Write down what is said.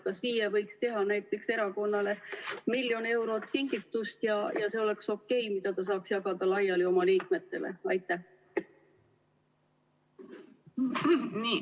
Kas FIE võiks kinkida näiteks erakonnale miljon eurot ja see oleks okei, kui erakond saaks selle jagada laiali oma liikmetele?